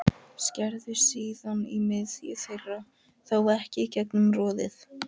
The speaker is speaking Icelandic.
Skerðu síðan í miðju þeirra, þó ekki í gegnum roðið.